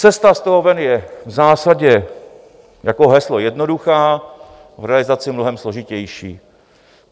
Cesta z toho ven je v zásadě jako heslo jednoduchá, v realizaci mnohem složitější.